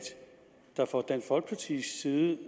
når man fra dansk folkepartis side